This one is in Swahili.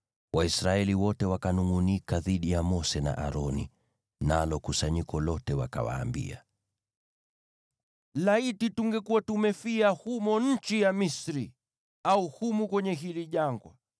Waisraeli wote wakanungʼunika dhidi ya Mose na Aroni, nalo kusanyiko lote wakawaambia, “Laiti tungekuwa tumefia humo nchi ya Misri! Au humu kwenye hili jangwa!